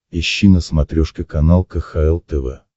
ищи на смотрешке канал кхл тв